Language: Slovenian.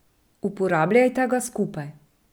Uporabljajta ga skupaj.